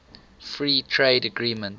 free trade agreements